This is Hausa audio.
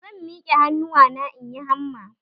Zan mike hannuwana in yi hamma.